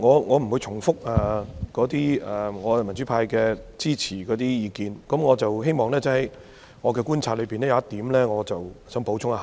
我不會重複我們民主派支持議案的意見，我只想補充一點。